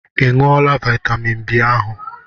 I ṅụọla vitamin B ahụ?